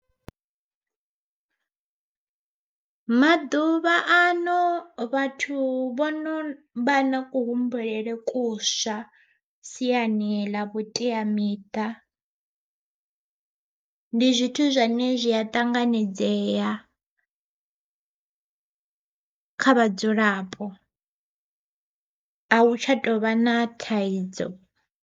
Maḓuvha ano vhathu vhono vha na ku humbulele kuswa siani ḽa vhuteamiṱa, ndi zwithu zwine zwi a ṱanganedzea kha vhadzulapo a u tsha tovha na thaidzo.